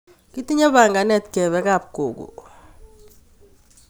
Kitinye panganet kepe kap gogo